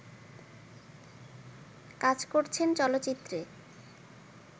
কাজ করেছেন চলচ্চিত্রে